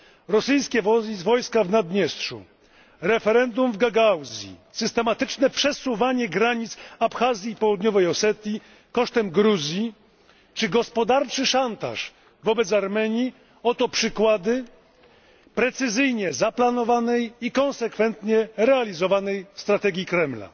Rosyjskie wojska w Naddniestrzu, referendum w Gagauzji, systematyczne przesuwanie granic Abchazji i Południowej Osetii kosztem Gruzji czy gospodarczy szantaż wobec Armenii oto przykłady precyzyjnie zaplanowanej i konsekwentnie realizowanej strategii Kremla.